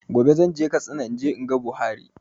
Gobe zan je Katsina in je in ga Buhari